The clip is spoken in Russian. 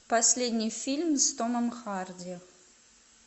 последний фильм с томом харди